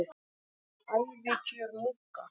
Ævikjör munka